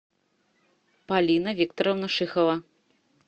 полина викторовна шихова